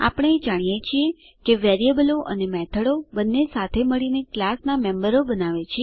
આપણે જાણીએ છીએ કે વેરીએબલો અને મેથડો બંને સાથે મળીને ક્લાસનાં મેમ્બરો બનાવે છે